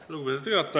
Lugupeetud juhataja!